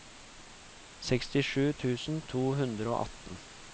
sekstisju tusen to hundre og atten